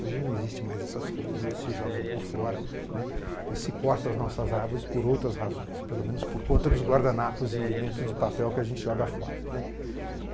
Hoje não existe mais essas coisas, hoje se joga tudo fora, né, e se corta as nossas árvores por outras razões, pelo menos por conta dos guardanapos e lenços de papel que a gente joga fora, né.